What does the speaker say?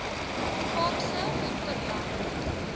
kaapse hinterland